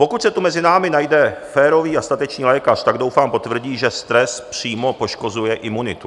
Pokud se tu mezi námi najde férový a statečný lékař, tak doufám potvrdí, že stres přímo poškozuje imunitu.